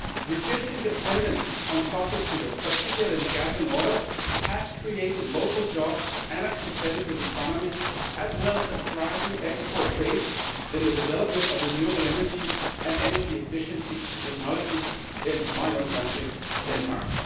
Reducing dependence on fossil fuels, particularly gas and oil, has created local jobs and a competitive economy, as well as a thriving export base in the development of renewable energy and energy efficiency technologies in my own country, Denmark.